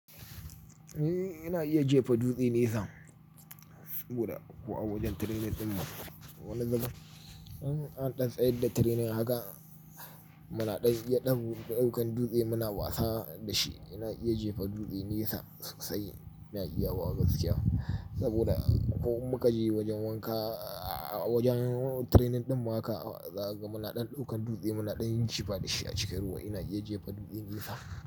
Eh, ina iya jefa dutse nesa saboda ko a wajen training ɗin mu. Wani zubin in an ɗan tsayar da training haka, muna ɗan iya ɗaukan dutse muna wasa da shi. Ina iya jefa dutse nesa sosai ina iyawa gaskiya saboda ko in muka je wajen wanka, wajen training ɗin mu haka, zakaga muna ɗan ɗaukan dutse muna ɗan jifa da shi a cikin ruwa. Ina iya jefa dutse nesa.